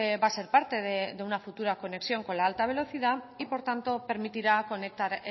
va a ser parte de una futura conexión con la alta velocidad y por tanto permitirá conectar